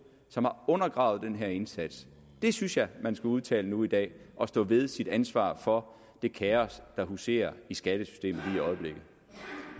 som har undergravet den her indsats det synes jeg at man skal udtale nu i dag og stå ved sit ansvar for det kaos der huserer i skattesystemet